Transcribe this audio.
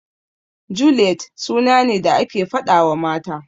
Juliyet suna ne da ake faɗawa mata.